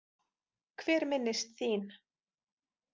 Hver minnist þín?